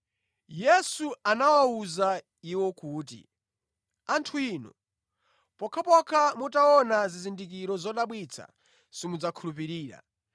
Yesu anawawuza iwo kuti, “Anthu inu pokhapokha mutaona zizindikiro zodabwitsa, simudzakhulupirira.”